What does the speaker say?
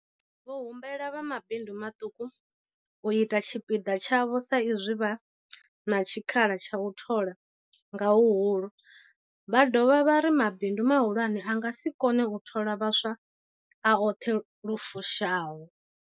Vho humbela vha mabindu maṱuku u ita tshipiḓa tshavho sa izwi vha na tshikhala tsha u thola nga huhulu, vha dovha vha ri mabindu mahulwane a nga si kone u thola vhaswa a oṱhe lu fushaho.